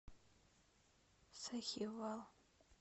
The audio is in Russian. сахивал